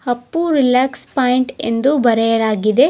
Appu relax point ಎಂದು ಬರೆಯಲಾಗಿದೆ.